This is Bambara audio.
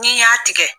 N'i y'a tigɛ